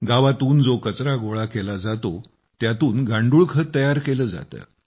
गावातून जो कचरा गोळा केला जातो त्यातून गांडूळ खत तयार केले जाते